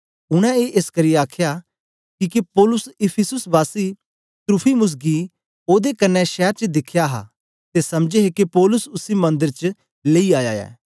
उनै ए एसकरी आखया किके पौलुस इफिसुस वासी त्रुफिमुस गी ओदे कन्ने शैर च दिखया हा ते समझे हे के पौलुस उसी मंदर च लेई आया ऐ